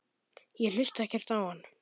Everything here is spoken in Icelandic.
Ég hlusta ekkert á hann.